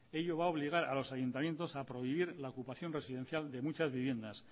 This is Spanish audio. ello va a obligar a los ayuntamientos a prohibir la ocupación residencial de muchas viviendas